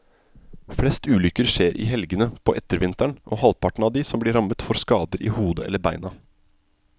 Flest ulykker skjer i helgene på ettervinteren, og halvparten av de som blir rammet får skader i hodet eller beina.